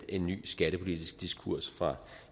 en ny skattepolitisk diskurs fra